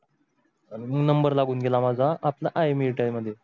आणि number लागून गेला माझा आपना IMIT मध्ये.